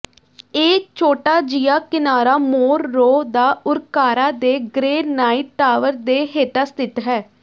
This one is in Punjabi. ਇਹ ਛੋਟਾ ਜਿਹਾ ਕਿਨਾਰਾ ਮੋਰਰੋ ਦਾ ਉਰਕਾਰਾ ਦੇ ਗ੍ਰੇਨਾਈਟ ਟਾਵਰ ਦੇ ਹੇਠਾਂ ਸਥਿਤ ਹੈ